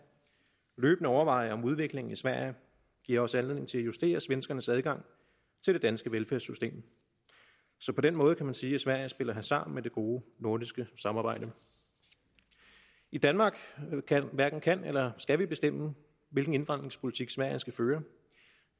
løbende overveje om udviklingen i sverige giver os anledning til at justere svenskernes adgang til det danske velfærdssystem så på den måde kan man sige at sverige spiller hasard med det gode nordiske samarbejde i danmark hverken kan eller skal vi bestemme hvilken indvandringspolitik sverige skal føre